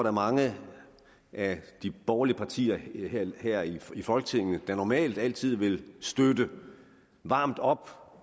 er mange af de borgerlige partier her i i folketinget der normalt altid vil støtte varmt op